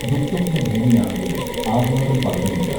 ദുഃസ്വപ്ന ഭൂമിയാണെങ്കിലും ആഹ്ലാദം പകരുന്നുണ്ട്